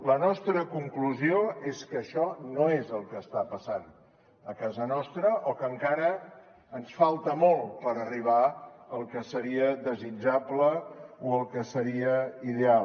la nostra conclusió és que això no és el que està passant a casa nostra o que encara ens falta molt per arribar al que seria desitjable o al que seria ideal